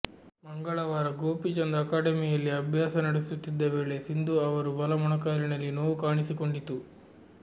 ಮಂಗಳವಾರ ಗೋಪಿಚಂದ್ ಅಕಾಡೆಮಿಯಲ್ಲಿ ಅಭ್ಯಾಸ ನಡೆಸುತ್ತಿದ್ದ ವೇಳೆ ಸಿಂಧು ಅವರು ಬಲ ಮೊಣಕಾಲಿನಲ್ಲಿ ನೋವು ಕಾಣಿಸಿಕೊಂಡಿತ್ತು